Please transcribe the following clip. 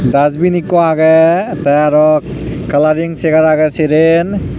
dasbin ikko agey tey arow kalaring chegar agey seren.